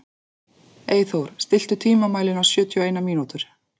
Eyþór, stilltu tímamælinn á sjötíu og eina mínútur.